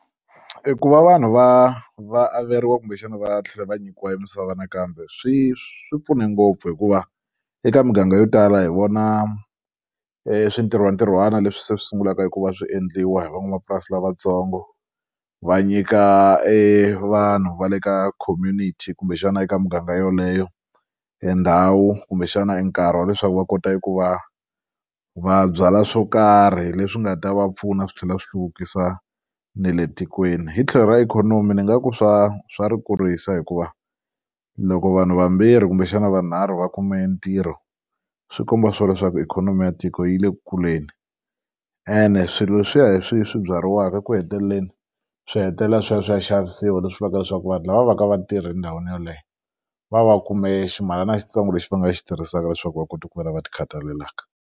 E ku va vanhu va va averiwa kumbexana va tlhela va nyikiwa emisava nakambe swi swi pfune ngopfu hikuva eka muganga yo tala hi vona switirhwatirhwana leswi se swi sungulaka ku va swi endliwa hi van'wamapurasi lavatsongo va nyika evanhu va le ka community kumbexana eka muganga yoleyo endhawu kumbexana e nkarhi wa leswaku va kota ku va va byala swo karhi leswi nga ta va pfuna swi tlhela swi hluvukisa ne le tikweni hi tlhelo ra ikhonomi ni nga ku swa swa ri kurisa hikuva loko vanhu vambirhi kumbexana vanharhu va khume ntirho swi komba swona leswaku ikhonomi ya tiko yi le ku kuleni ene swilo leswiya hi swi swi byariwaka eku heteleleni swi hetelela swi ya swi ya xavisiwa leswi vulaka leswaku vanhu lava va va ka va tirhi endhawini yeleyo va va kume ximalana xitsongo lexi va nga xi tirhisaka leswaku va kota ku va lava ti khathalelaka.